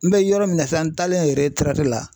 N bɛ yɔrɔ min na sisan n taalen la